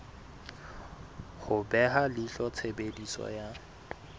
ho beha leihlo tshebediso ya